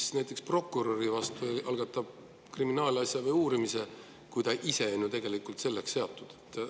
Kes näiteks prokuröri vastu algatab kriminaalasja uurimise, kui ta ise on ju tegelikult selleks seatud?